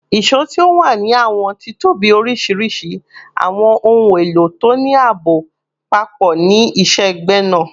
ìṣó ti o wa ni awọn titobi oriṣiriṣi, awọn ohun elo to ni aabo papọ ni iṣẹ-gbẹna